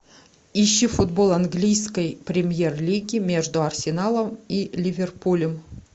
ищи футбол английской премьер лиги между арсеналом и ливерпулем